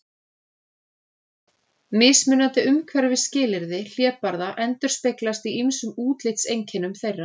Mismunandi umhverfisskilyrði hlébarða endurspeglast í ýmsum útlitseinkennum þeirra.